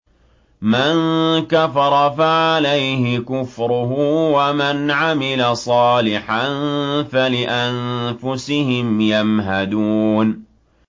مَن كَفَرَ فَعَلَيْهِ كُفْرُهُ ۖ وَمَنْ عَمِلَ صَالِحًا فَلِأَنفُسِهِمْ يَمْهَدُونَ